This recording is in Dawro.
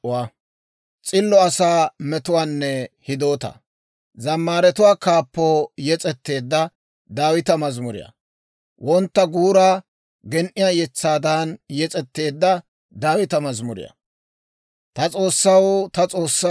Ta S'oossaw, ta S'oossaw, taana ayaw aggaadii? Taana maadda gaade taani new watiwatiyaa wode, ayaw taappe haakkay?